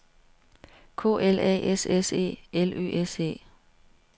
K L A S S E L Ø S E